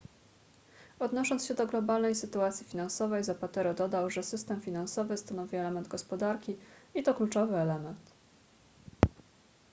odnosząc się do globalnej sytuacji finansowej zapatero dodał że system finansowy stanowi element gospodarki i to kluczowy element